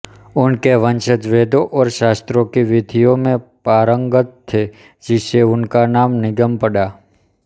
उनके वंशज वेदों और शास्त्रों की विधियों में पारंगत थे जिससे उनका नाम निगम पड़ा